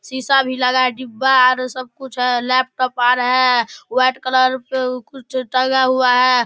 सीसा भी लगा है डिब्बा है आर सब कुछ हेय लैपटॉप आर हेय उ व्हाइट कलर पे ऊ कुछ टंगा हुआ है।